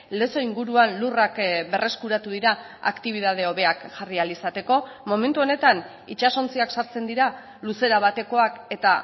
lezo inguruan lurrak berreskuratu dira aktibitate hobeak jarri ahal izateko momentu honetan itsasontziak sartzen dira luzera batekoak eta